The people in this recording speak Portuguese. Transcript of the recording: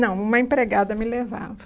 Não, uma empregada me levava.